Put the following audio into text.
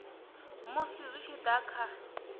musi zwi tshi da kha